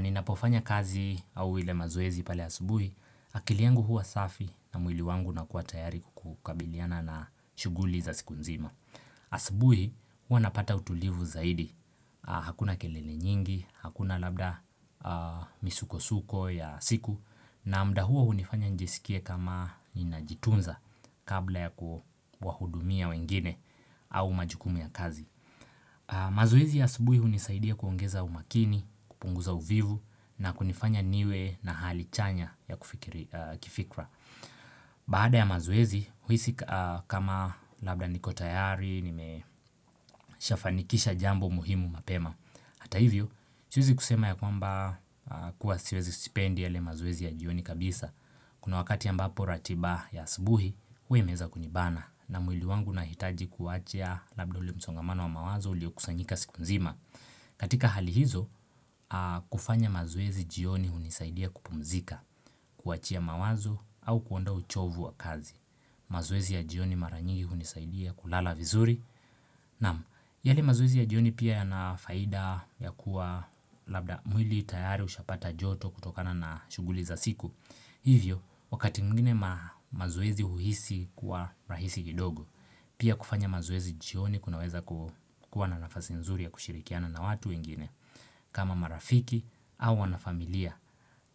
Ninapofanya kazi au ile mazoezi pale asubuhi akili yangu hua safi na mwili wangu na unakua tayari kukabiliana na shughuli za siku nzima asubuhi hua napata utulivu zaidi Hakuna kelele nyingi, hakuna labda misukosuko ya siku na muda huo hunifanya nijisikie kama ninajitunza kabla ya kuwahudumia wengine au majukumu ya kazi mazoezi ya asubuhi hunisaidia kuongeza umakini, kupunguza uvivu na kunifanya niwe na hali chanya ya kifikra Baada ya mazoezi, huisi kama labda niko tayari, nimeshafanikisha jambo muhimu mapema Hata hivyo, siwezi kusema ya kwamba kuwa siwezi, sipendi yale mazoezi ya jioni kabisa Kuna wakati ambapo ratiba ya asubuhi, huwa imeweza kunibana, na mwili wangu unahitaji kuachia labda ule msongamano wa mawazo uliokusanyika siku mzima. Katika hali hizo, kufanya mazoezi jioni hunisaidia kupumzika, kuachia mawazo au kuondoa uchovu wa kazi mazoezi ya jioni mara nyingi hunisaidia kulala vizuri Na'am, yale mazoezi ya jioni pia yana faida ya kuwa labda mwili tayari ushapata joto kutokana na shughuli za siku Hivyo, wakati mwngine mazoezi uhisi kuwa rahisi kidogo Pia kufanya mazoezi jioni kunaweza kuwa na nafasi nzuri ya kushirikiana na watu wengine. Kama marafiki au wanafamilia,